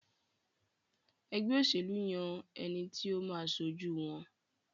ègbé òṣèlú yàn ẹní tí o má aṣojú wón.